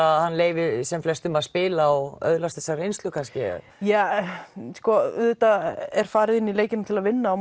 að hann leyfi sem flestum að spila og öðlast þessa reynslu ja auðvitað er farið inn í leikinn til að vinna og